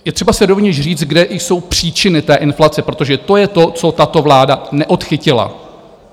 Je třeba si rovněž říct, kde jsou příčiny té inflace, protože to je to, co tato vláda neodchytila.